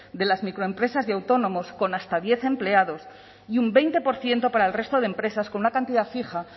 de las microempresas y autónomos con hasta diez empleados y un veinte por ciento para el resto de empresas con una cantidad fija